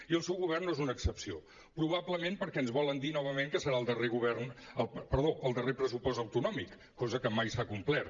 i el seu govern no n’és una excepció probablement perquè ens volen dir novament que serà el darrer pressupost autonòmic cosa que mai s’ha complert